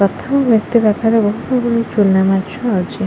ପ୍ରଥମ ବ୍ୟକ୍ତି ପାଖରେ ବହୁତ ଗୁଡାଏ ଚୁନା ମାଛ ଅଛି।